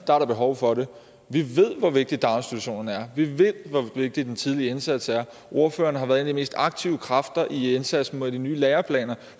er der behov for det vi ved hvor vigtige daginstitutionerne er vi ved hvor vigtig den tidlige indsats er ordføreren har været en af de mest aktive kræfter i indsatsen med de nye læreplaner